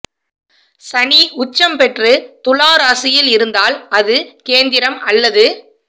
சனி உச்சம் பெற்று துலா ராசியில் இருந்தால் அது கேந்திரம் அல்லது